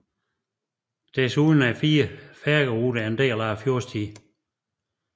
Desuden er fire færgeruter en del af Fjordstien